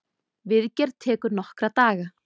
Viðgerð tekur nokkra daga.